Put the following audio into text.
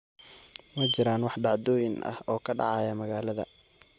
ma jiraan wax dhacdooyin ah oo ka dhacaya magaalada